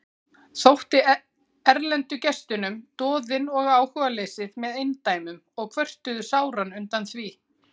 Þótti erlendu gestunum doðinn og áhugaleysið með eindæmum og kvörtuðu sáran undan því.